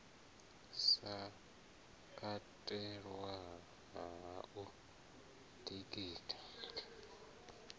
sa katelwi ha u ḓitika